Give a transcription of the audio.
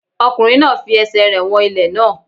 Ọkùnrin náà fi ẹsẹ̀ rẹ̀ wọn ilẹ̀ náà.